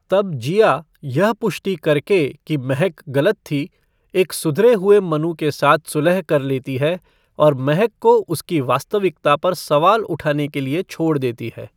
तब जिया, यह पुष्टि करके कि महक गलत थी, एक सुधरे हुए मनु के साथ सुलह कर लेती है, और महक को उसकी वास्तविकता पर सवाल उठाने के लिए छोड़ देती है।